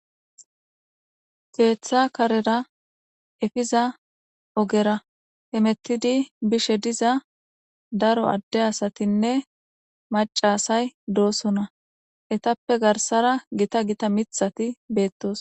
Keeththa karera efiza ogera hemettidi bishe diza daro adde asatinne macasay doosona etappe garsara gita gita mithati beettos.